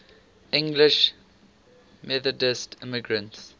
english methodist immigrants